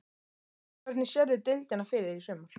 Hvernig sérðu deildina fyrir þér í sumar?